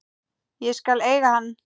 Ég skal eiga hann.